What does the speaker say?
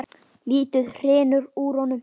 Lítið hrynur úr honum.